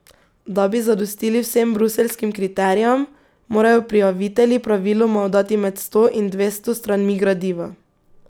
Da bi zadostili vsem bruseljskim kriterijem, morajo prijavitelji praviloma oddati med sto in dvesto stranmi gradiva.